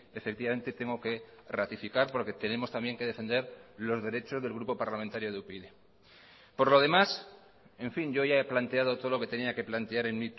efectivamente tengo que ratificar porque tenemos también que defender los derechos del grupo parlamentario de upyd por lo demás en fin yo ya he planteado todo lo que tenía que plantear en